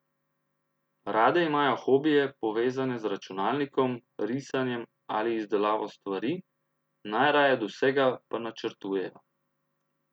Rade imajo hobije, povezane z računalnikom, risanjem ali izdelavo stvari, najraje od vsega pa načrtujejo.